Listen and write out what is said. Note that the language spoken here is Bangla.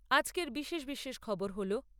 আজকের বিশেষ বিশেষ খবর হলো